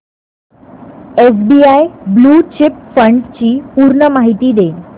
SBI blue chip fund ची पूर्ण माहिती दे